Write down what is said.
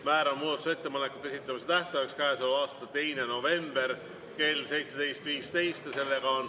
Määran muudatusettepanekute esitamise tähtajaks 2. novembri kell 17.15.